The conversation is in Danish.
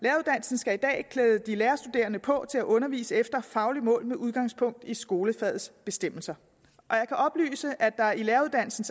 skal i dag klæde de lærerstuderende på til at undervise efter et fagligt mål med udgangspunkt i skolefagets bestemmelser og jeg kan oplyse at der i læreruddannelsen